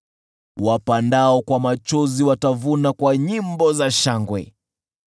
Wapandao kwa machozi watavuna kwa nyimbo za shangwe.